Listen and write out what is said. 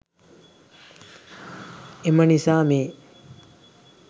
එම නිසා මේ